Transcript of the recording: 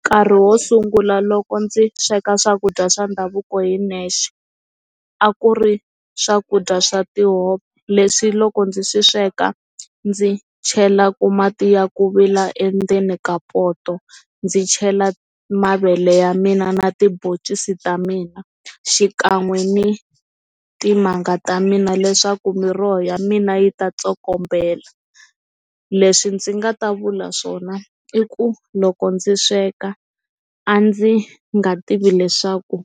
Nkarhi wo sungula loko ndzi sweka swakudya swa ndhavuko hi nexe a ku ri swakudya swa tihove leswi loko ndzi swi sweka ndzi chelaku mati ya ku vila endzeni ka poto ndzi chela mavele ya mina na tibhoncisi ta mina xikan'we ni timanga ta mina leswaku miroho ya mina yi ta tsokombela, leswi ndzi nga ta vula swona i ku loko ndzi sweka a ndzi nga tivi leswaku